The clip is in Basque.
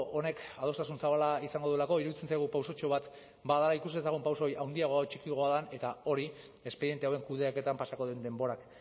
honek adostasun zabala izango duelako iruditzen zaigu pausotxo bat ba da ikus dezagun pauso hori handiagoa edo txikiagoa den eta hori espediente hauen kudeaketan pasako den denborak